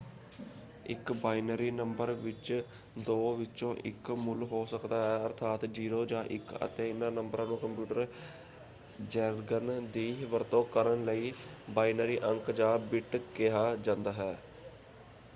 ਇੱਕ binary number ਵਿੱਚ ਦੋ ਵਿੱਚੋਂ ਇੱਕ ਮੁੱਲ ਹੋ ਸਕਦਾ ਹੈ ਅਰਥਾਤ 0 ਜਾਂ 1 ਅਤੇ ਇਹਨਾਂ ਨੰਬਰਾਂ ਨੂੰ ਕੰਪਿਊਟਰ ਜੈਰਗਨ ਦੀ ਵਰਤੋਂ ਕਰਨ ਲਈ ਬਾਈਨਰੀ ਅੰਕ - ਜਾਂ ਬਿੱਟ ਕਿਹਾ ਜਾਂਦਾ ਹੈ।